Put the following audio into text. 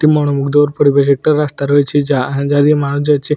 মনমুগ্ধকর পরিবেশ একটা রাস্তা রয়েছে যা যা দিয়ে মানুষ যাচ্ছে।